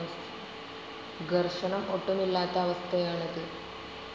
ഘർഷണം ഒട്ടുമില്ലാത്ത അവസ്ഥയാണ് ഇത്.